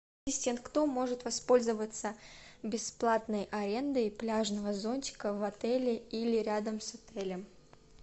ассистент кто может воспользоваться бесплатной арендой пляжного зонтика в отеле или рядом с отелем